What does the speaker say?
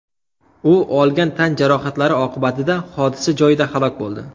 U olgan tan jarohatlari oqibatida hodisa joyida halok bo‘ldi.